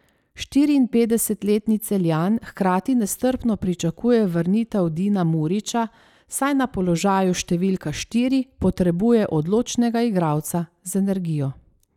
Štiriinpetdesetletni Celjan hkrati nestrpno pričakuje vrnitev Dina Muriča, saj na položaju številka štiri potrebuje odločnega igralca z energijo.